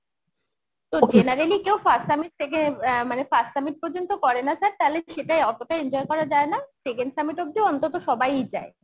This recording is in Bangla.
তো generally কেউ first summit থেকে অ্যাঁ মানে first summit পর্যন্ত করে না sir তাহলে সেটাই অতোটা enjoy করা যায় না second summit অব্দি অন্তত সবাই যায়